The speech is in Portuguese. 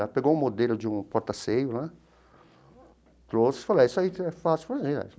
Ela pegou um modelo de um portaceio lá, trouxe e falou, isso aí é fácil fazer.